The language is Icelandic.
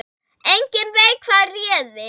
Enginn veit hvað réði.